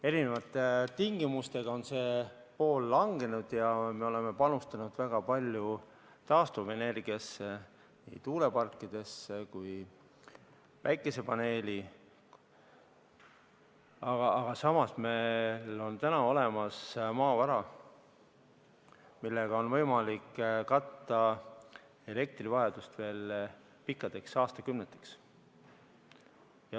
Erinevate tingimuste tõttu on see osa langenud ja me oleme panustanud väga palju taastuvenergiasse, nii tuuleparkidesse kui päikesepaneelidesse, aga samas meil on olemas maavara, millega on võimalik katta elektrivajadus veel pikkadeks aastakümneteks.